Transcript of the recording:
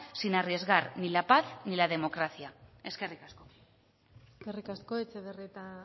sin arriesgar ni la paz ni la democracia eskerrik asko eskerrik asko etxebarrieta